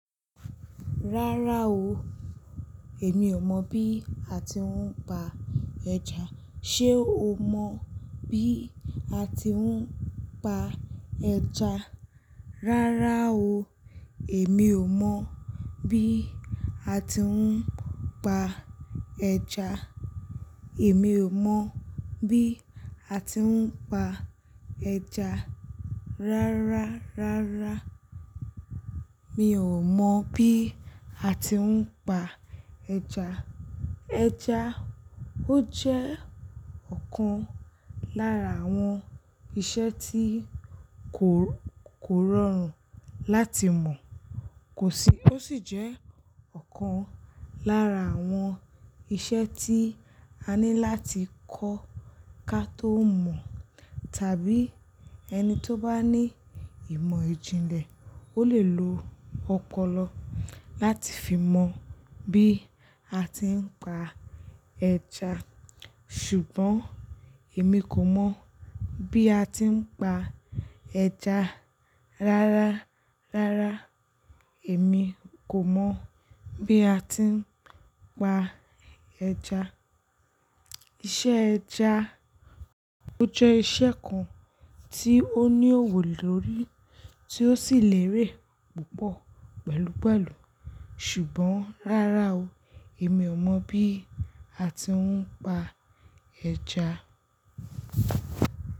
Rárá o, èmi ò mọ̀ bí a ti ń pa ẹja. Ṣé o mọ̀ bí a ti ń pa ẹja? Rárá o, èmi ò mọ̀ bí a ti ń pa ẹja. Èmi ò mọ̀ bí a ti ń pa ẹja. Rárá, rárá, mi ò mọ̀ bí a ti ń pa ẹja. Ẹja ó jẹ́ ọ̀kan lára àwọn iṣẹ́ tí kò, kò rọrùn láti mọ̀, kò sì, ó sì jẹ́ ọ̀kan lára àwọn iṣẹ́ tí a ní láti kọ́ ká tó mọ̀. Tàbí ẹni tó bá ní ìmọ̀ ìjìnlẹ̀, ó lè lo ọpọlọ láti fi mọ bí a ti ń pa ẹja. Ṣùgbọ́n èmi kò mọ̀ bí a ti ń pa ẹja. Rárá, rárá, èmi kò mọ̀ bí a ti ń pa ẹja. Iṣẹ́ ẹja ó jẹ́ iṣẹ́ kan tí ó ní òwò lórí tí ó sì lérè púpọ̀ pẹ̀lúpẹ̀lú. Ṣùgbọ́n rárá o, èmi ò mọ̀ bí a ti ń pa ẹja.